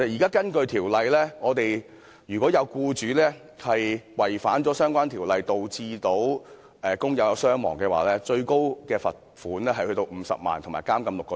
根據現時的條例規定，如果有僱主違反相關條例，導致工友傷亡，最高罰款可達50萬元及監禁6個月。